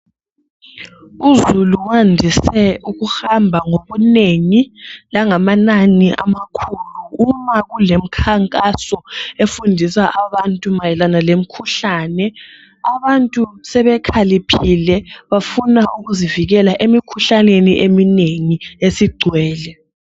Uzulu wandise ukuhamba ngobunengi langamanani amakhulu uma kulemkhankaso efundisa abantu ngemikhuhlane. Abantu sebekhaliphile bafuna ukuzivikela emikhuhlaneni eminengi esigcwele.